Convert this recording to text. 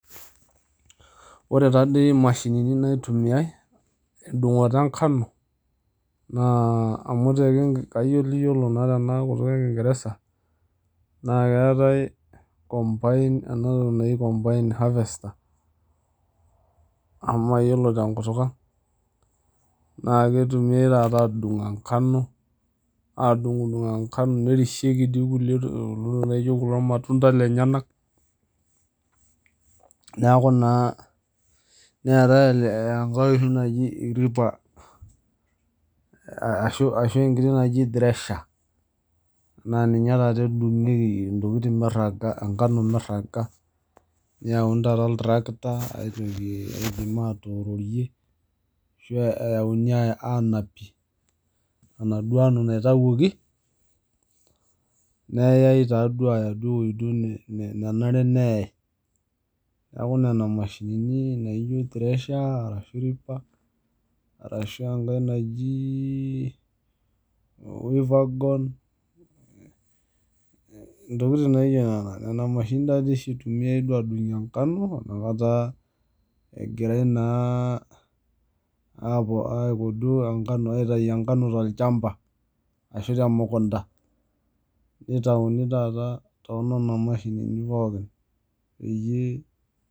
Ore taadei imashinini naitumiae tendung'oto enkano amu kayioliyiolo naa kayioliyiolo naa tena kutuk e kingereza naa keetae combine ena toki naji combined harvester amu mayiolo tenkutuk ang. Naa keirumiae taata aadung enkano, aadung'udung enkano nerishieki dii kulie tokiting laijo kulo matunda lenyenak. Neeku naa neetae enkae oshi naji ripper ashu enkiti naji thresher naa ninye taata edung'ieki intokiting mirraga, enkano mirraga. Neyauni taata oltrakta aitutie aipim atoororie ashu eyauni aanapie enaduo kano naitawuoki, neyae taaduo aaya ewuei duo nenare neyae. Neeku nena mashinini naijo thresher arashu ripper arashu enkae naji weaver gone, intokiting naijo nena. Nena mashinini taadii oshi itumiae aadung'ie enkano inakata egirae naa aitayu enkano tolchamba ashu temukunta. Nitauni taata toonena mashinini pookin peyie